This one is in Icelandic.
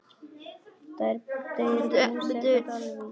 Þau eru búsett á Dalvík.